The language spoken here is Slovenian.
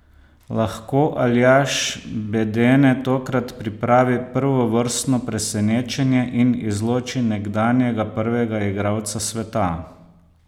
Lahko Aljaž Bedene tokrat pripravi prvovrstno presenečenje in izloči nekdanjega prvega igralca sveta?